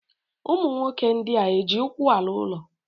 ụmụ nwoke ndị a eji ụkwụ ala ụlọ?